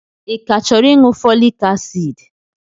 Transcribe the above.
Ị ka chọrọ ịṅụ fọlik asiidi?